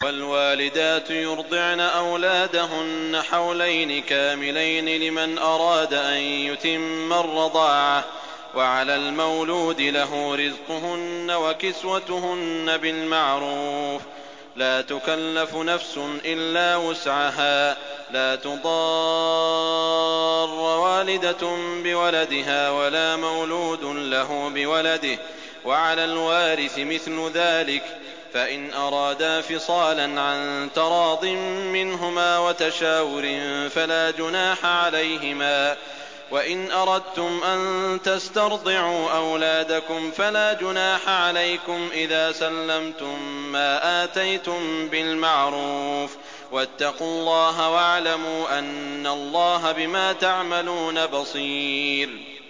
۞ وَالْوَالِدَاتُ يُرْضِعْنَ أَوْلَادَهُنَّ حَوْلَيْنِ كَامِلَيْنِ ۖ لِمَنْ أَرَادَ أَن يُتِمَّ الرَّضَاعَةَ ۚ وَعَلَى الْمَوْلُودِ لَهُ رِزْقُهُنَّ وَكِسْوَتُهُنَّ بِالْمَعْرُوفِ ۚ لَا تُكَلَّفُ نَفْسٌ إِلَّا وُسْعَهَا ۚ لَا تُضَارَّ وَالِدَةٌ بِوَلَدِهَا وَلَا مَوْلُودٌ لَّهُ بِوَلَدِهِ ۚ وَعَلَى الْوَارِثِ مِثْلُ ذَٰلِكَ ۗ فَإِنْ أَرَادَا فِصَالًا عَن تَرَاضٍ مِّنْهُمَا وَتَشَاوُرٍ فَلَا جُنَاحَ عَلَيْهِمَا ۗ وَإِنْ أَرَدتُّمْ أَن تَسْتَرْضِعُوا أَوْلَادَكُمْ فَلَا جُنَاحَ عَلَيْكُمْ إِذَا سَلَّمْتُم مَّا آتَيْتُم بِالْمَعْرُوفِ ۗ وَاتَّقُوا اللَّهَ وَاعْلَمُوا أَنَّ اللَّهَ بِمَا تَعْمَلُونَ بَصِيرٌ